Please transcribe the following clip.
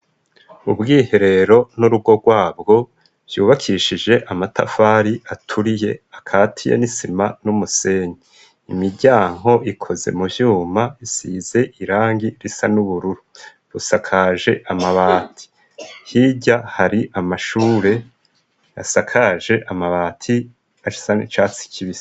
Ubwiherero n'urugo rwabwo vyubakishije amatafari aturiye akati ya nisima n'umusenyi imiryanko ikoze mu vyuma isize irangi risa n'ubururu rusakaje amabati hirya hari amashure asakaje amabai ati achisane catsi kibia.